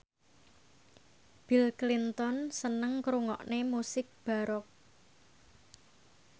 Bill Clinton seneng ngrungokne musik baroque